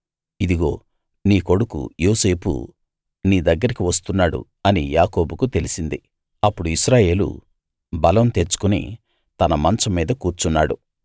ఇదిగో నీ కొడుకు యోసేపు నీ దగ్గరికి వస్తున్నాడు అని యాకోబుకు తెలిసింది అప్పుడు ఇశ్రాయేలు బలం తెచ్చుకుని తన మంచం మీద కూర్చున్నాడు